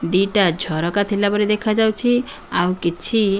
ଦିଟା ଝରକା ଥିଲା ପରି ଦେଖାଯାଉଛି ଆଉ କିଛି --